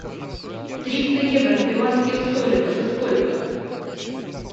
триста евро в перуанских солях это сколько